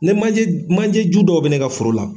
Ne manje manje ju dɔ bɛ ne ka foro la.